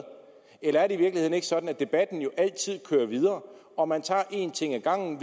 eller er det i virkeligheden ikke sådan at debatten jo altid kører videre og at man tager én ting ad gangen